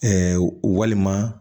walima